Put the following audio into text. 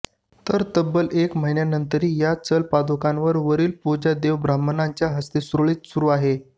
तर तब्बल एक महिन्यानंतरही या चल पादुकांवर वरील पूजा देवा ब्राह्मणांच्या हस्ते सुरळीत सुरू आहे